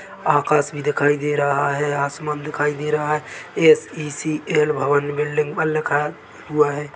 आकाश भी दिखाई दे रहा है आसमान दिखाई दे रहा है ये एस.इ.सी.ऐल भवन बिल्डिंग पर लिखा हुआ हैं।